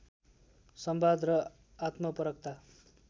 संवाद र आत्मपरकता